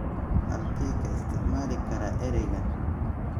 halkee ka isticmaali karaa eraygan